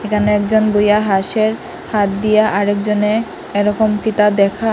এখানে একজন দুইয়া হাসের হাত দিয়া আর একজনে এরকম তিতা দেখায়।